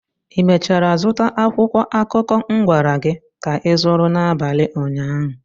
i mechara zụta akwụkwọ akụkọ m gwara gị ka ịzụrụ n'abalị ụnyaahụ?